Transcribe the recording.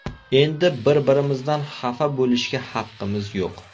Endi bir-birimizdan xafa bo‘lishga haqqimiz yo‘q.